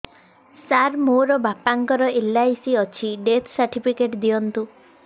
ସାର ମୋର ବାପା ଙ୍କର ଏଲ.ଆଇ.ସି ଅଛି ଡେଥ ସର୍ଟିଫିକେଟ ଦିଅନ୍ତୁ